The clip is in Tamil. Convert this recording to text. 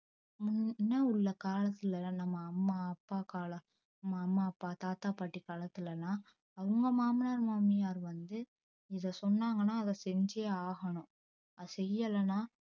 முன் முன்ன உள்ள காலத்துலலாம் நம்ம அம்மா அப்பா கால நம்ம அம்மா அப்பா தாத்தா பாட்டி காலத்துலலா அவுங்க மாமனார் மாமியார் வந்து இத சொன்னாங்கனா அத செஞ்சே ஆகனும் அத செய்யலனா